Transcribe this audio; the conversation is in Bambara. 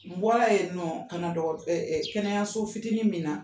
N bɔra yen nɔn kana kɛnɛyaso fitinin min na